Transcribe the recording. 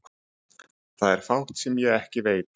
Það er fátt sem ég ekki veit.